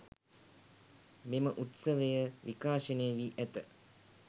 මෙම උත්සවය විකාශනය වී ඇත